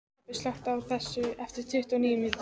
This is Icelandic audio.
Tobbi, slökktu á þessu eftir tuttugu og níu mínútur.